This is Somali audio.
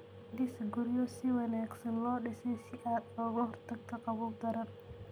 Dhis guryo si wanaagsan loo dhisay si aad uga hortagto qabow daran.